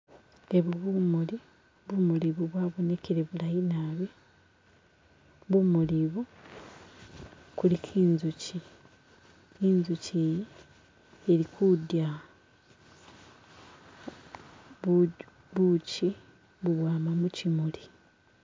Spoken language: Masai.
Ebu bumuli, bumulu bu bwabonekele bulayi naabi bumuli bu kuliko inzuchi, inzuchi iyi ili kudya buuchi bubwama muchimuli.